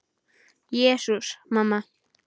Jesús, mamma.